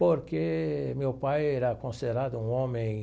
Porque meu pai era considerado um homem